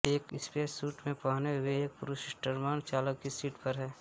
एक स्पेससूट में पहने हुए एक पुरूष स्टर्मन चालक की सीट पर है